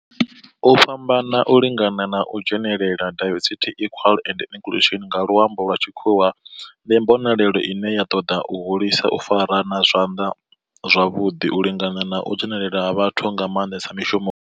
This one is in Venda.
U fhambana, u lingana na u dzhenelela diversity, equity and inclusion nga lwambo lwa tshikhuwa ndi mbonelelo ine ya ṱoḓa u hulisa u farana zwavhudi, u lingana na u dzhenelela ha vhathu nga manḓesa.